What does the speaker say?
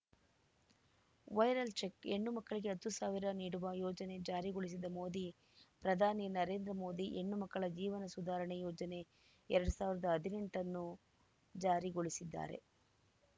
viral check ಹೆಣ್ಣುಮಕ್ಕಳಿಗೆ ಹತ್ತು ಸಾವಿರ ನೀಡುವ ಯೋಜನೆ ಜಾರಿಗೊಳಿಸಿದ ಮೋದಿ ಪ್ರಧಾನಿ ನರೇಂದ್ರ ಮೋದಿ ಹೆಣ್ಣುಮಕ್ಕಳ ಜೀವನ ಸುಧಾರಣೆ ಯೋಜನೆ ಎರಡ್ ಸಾವಿರದ ಹದಿನೆಂಟ ಅನ್ನು ಜಾರಿಗೊಳಿಸಿದ್ದಾರೆ